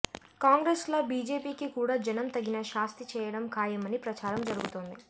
కాంగ్రెస్ లా బీజేపీకి కూడా జనం తగిన శాస్తి చేయడం ఖాయమని ప్రచారం జరుగుతోంది